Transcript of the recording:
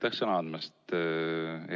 Aitäh sõna andmast!